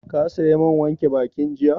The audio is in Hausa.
Ka saya man wanke bakin jiya?